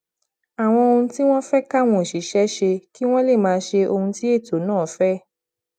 àwọn ohun tí wón fé káwọn òṣìṣé ṣe kí wón lè máa ṣe ohun tí ètò náà fé